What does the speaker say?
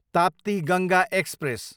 Tapti Ganga express